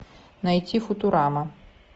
найти футурама